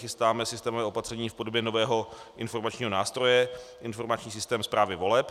Chystáme systémové opatření v podobě nového informačního nástroje informační systém správy voleb.